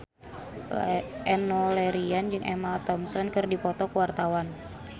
Enno Lerian jeung Emma Thompson keur dipoto ku wartawan